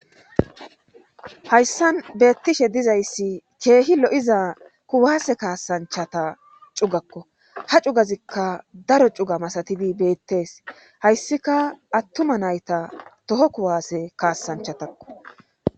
hayssan beettishe dizayssi keehi lo7iza kuwaase kaasanchata cugakko ha cugazikka daro cuga masatidi beettes hayssika attuma nayta toho kuwaase kaasanchatakko